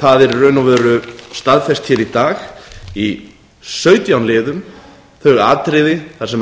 það er í raun og veru staðfest í dag í sautján liðum þau atriði þar sem